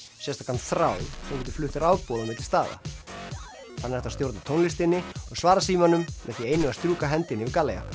sérstakan þráð sem getur flutt rafboð á milli staða þannig er hægt að stjórna tónlistinni og svara símanum með því einu að strjúka hendinni